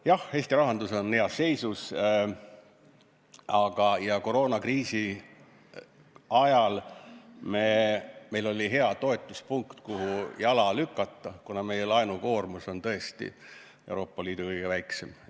Jah, Eesti rahandus on heas seisus ja koroonakriisi ajal meil oli hea toetuspunkt, kuhu jalad maha panna: meie laenukoormus on tõesti Euroopa Liidus kõige väiksem.